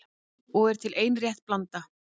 Og er til ein rétt blanda